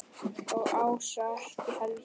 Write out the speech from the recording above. Og Ása ekki heldur.